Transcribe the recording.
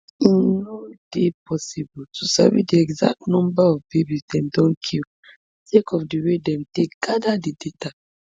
e no dey possible to sabi di exact number of babies dem don kill sake of di way dem take gada di data